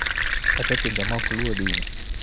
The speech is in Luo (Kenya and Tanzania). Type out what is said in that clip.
Kata e pinje ma ok luwo din.